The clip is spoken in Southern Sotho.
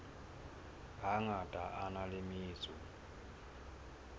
hangata a na le metso